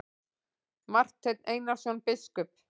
Marteinn Einarsson biskup!